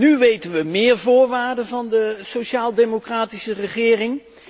Nu weten we meer voorwaarden van de sociaaldemocratische regering.